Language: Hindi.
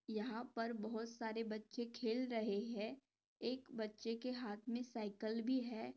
यहाँ पर बहुत सारे बच्चे खेल रहे है एक बच्चे के हाथ मे सायकल भी है।